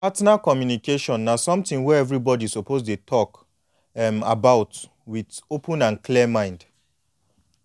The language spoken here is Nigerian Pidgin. partner communication na something wey everybody suppose dey talk um about with open and clear mind